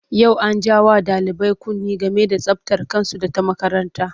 Yau an ja wa ɗalibai kunne game da tsabtar kansu da ta makaranta.